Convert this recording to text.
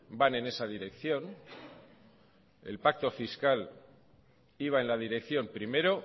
van en esa dirección el pacto fiscal iba en la dirección primero